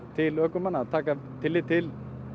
til ökumanna að taka tillit til